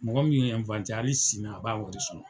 Mɔgɔ min ye hali sini a b'a wari sɔrɔ.